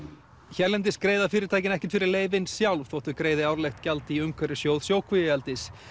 hérlendis greiða fyrirtæki ekkert fyrir leyfin sjálf þótt þau greiði árlegt gjald í umhverfissjóð sjókvíaeldis